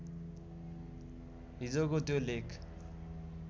हिजोको त्यो लेख